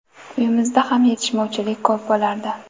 Uyimizda ham yetishmovchilik ko‘p bo‘lardi.